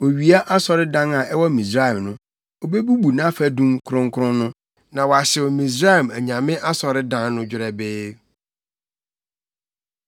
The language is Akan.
Owia asɔredan a ɛwɔ Misraim no, obebubu nʼafadum kronkron no, na wahyew Misraim anyame asɔredan no dwerɛbee.’ ”